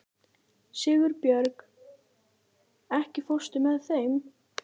Sigurbjörg, ekki fórstu með þeim?